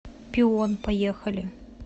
пион поехали